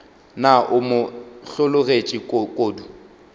na o mo hlologetše kodu